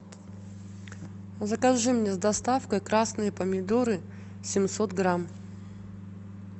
закажи мне с доставкой красные помидоры семьсот грамм